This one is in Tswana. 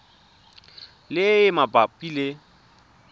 le e e mabapi le